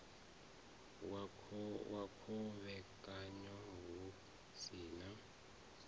wa khovhekanyo hu si na